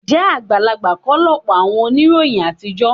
Ǹjẹ́ àgbàlagbà kọ́ lọ̀pọ̀ àwọn oníròyìn àtijọ́?